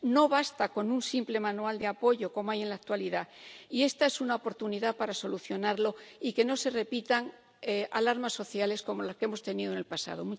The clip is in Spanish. No basta con un simple manual de apoyo, como hay en la actualidad, y esta es una oportunidad para solucionarlo y que no se repitan alarmas sociales como las que hemos tenido en el pasado.